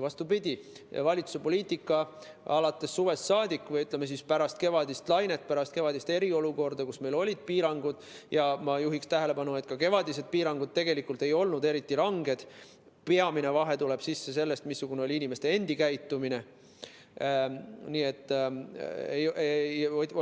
Vastupidi, valitsuse poliitikas suvest saadik või pärast kevadist lainet, pärast kevadist eriolukorda, kui olid piirangud – ma juhin tähelepanu, et ka kevadised piirangud ei olnud tegelikult eriti ranged, peamine vahe tuleb sisse sellest, missugune oli ja on inimeste endi käitumine –,